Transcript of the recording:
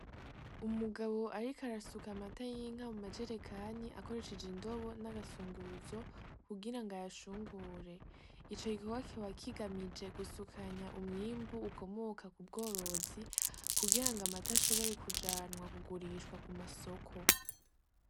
Umugabo ariko arasuka amata y'inka mu majerekani akoresheje indobo n,akayunguruzo kugirango ayashungure ico gikorwa kikaba kigamije gusukanya umwimbu ukomoka ku bworozi kugirango amata ashobore kujanwa kugurishwa ku masoko.